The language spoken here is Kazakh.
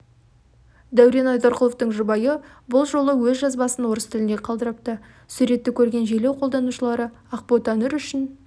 дәурен айдарқұловтың жұбайы бұл жолы өз жазбасын орыс тілінде қалдырыпты суретті көрген желі қолданушылары ақботанұр үшін